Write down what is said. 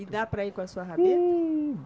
E dá para ir com a sua rabeta? iih